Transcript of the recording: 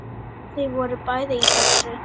Þau voru bæði í þessu.